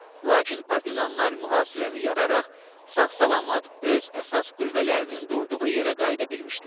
Lakin partizanlar mühasirəni yararaq sağ-salamat öz əsas qüvvələrinin durduğu yerə qayıda bilmişdilər.